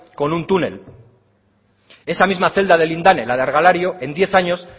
con un túnel esa misma celda de lindane la de argalario en diez años